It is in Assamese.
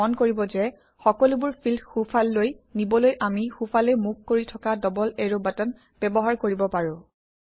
মন কৰিব যে সকলোবোৰ ফিল্ড সোঁফাললৈ নিবলৈ আমি সোঁফালে মুখ কৰি থকা ডবল এৰো বাটন ব্যৱহাৰ কৰিব পাৰোঁ